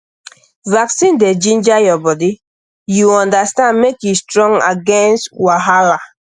vaccine dey ginger your body you understand make e strong against wahala